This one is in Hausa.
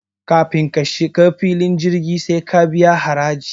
kafin ka shiga filin jirgi sai ka biya haraji